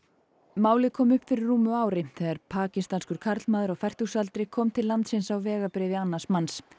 málið kom upp fyrir rúmu ári þegar pakistanskur karlmaður á fertugsaldri kom til landsins á vegabréfi annars manns